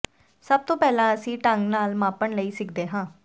ਸਭ ਤੋਂ ਪਹਿਲਾਂ ਅਸੀਂ ਸਹੀ ਢੰਗ ਨਾਲ ਮਾਪਣ ਲਈ ਸਿੱਖਦੇ ਹਾਂ